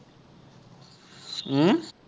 উম